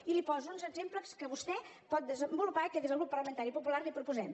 i li poso uns exemples que vostè pot desenvolupar i que des del grup parlamentari popular li proposem